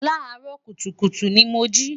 laa ro kutukutu ni mo ji